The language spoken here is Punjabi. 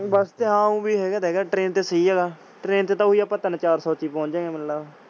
bus ਤੇ ਹਾਂ ਉਹ ਵੀ ਹੈਗਾ ਤੇ ਹੈਗਾ train ਤੇ ਸਹੀ ਹੈਗਾ। train ਤੇ ਓਹੀ ਆਪਾਂ ਤਿਨ ਚਾਰ ਸੋ ਚ ਹੀ ਪੁਹੰਚ ਜਾਣਗੇ ਮੇਨੂ ਲੱਗਦਾ।